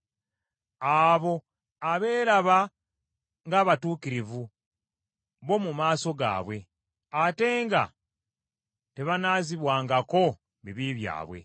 abo abeeraba ng’abatuukirivu bo mu maaso gaabwe, ate nga tebanaazibwangako bibi byabwe.